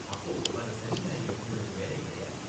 அப்போ, வர்ற சனி ஞாயிறு உங்களுக்கு வேலை இல்லயா?